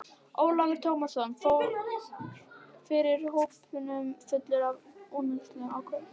Ólafur Tómasson fór fyrir hópnum fullur af ungæðislegri ákefð.